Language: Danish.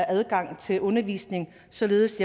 adgang til undervisning således